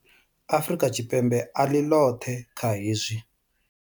Afrika Tshipembe a ḽi ḽoṱhe kha hezwi.